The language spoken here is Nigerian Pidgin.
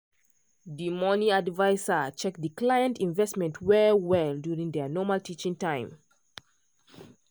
the money adviser check the client investment well well during their normal teaching time.